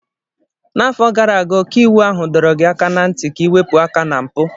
N'afọ gara aga ọkaiwu ahụ dọrọ gị aka ná ntị ka ịwepu aka ná mpụ.